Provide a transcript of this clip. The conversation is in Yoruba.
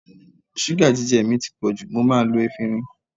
Ṣúgà jíjẹ mi ti pọ̀ jù, mo máa lo efinrin.